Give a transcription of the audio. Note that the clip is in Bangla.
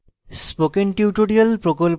spoken tutorial প্রকল্প the